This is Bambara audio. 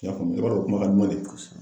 I y'a faamu i b'a dɔn kuma ka duman de